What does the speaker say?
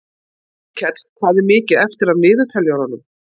Hólmkell, hvað er mikið eftir af niðurteljaranum?